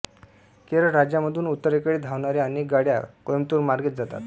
केरळ राज्यामधून उत्तरेकडे धावणाऱ्या अनेक गाड्या कोइंबतूरमार्गेच जातात